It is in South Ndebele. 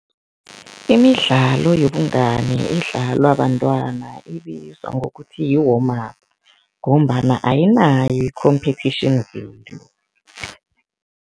Imidlalo yobungani edlalwa bantwana ibizwa ngokuthi yi-warm up ngombana ayinayo i-competition